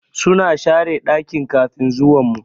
Suna share dakin kafin zuwan mu.